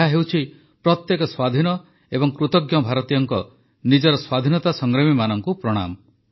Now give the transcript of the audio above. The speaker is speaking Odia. ଏହା ହେଉଛି ପ୍ରତ୍ୟେକ ସ୍ୱାଧୀନ ଏବଂ କୃତଜ୍ଞ ଭାରତୀୟଙ୍କ ନିଜର ସ୍ୱାଧୀନତା ସଂଗ୍ରାମୀମାନଙ୍କୁ ପ୍ରଣାମ